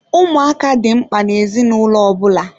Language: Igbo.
Ụmụaka dị mkpa na-ezinụlọ ọbụla.